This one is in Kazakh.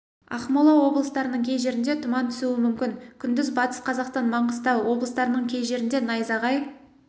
ақмола облыстарының кей жерінде тұман түсуі мүмкін күндіз батыс қазақстан маңғыстау облыстарының кей жерінде найзағай